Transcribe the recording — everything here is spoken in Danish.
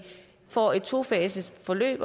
får et tofaset forløb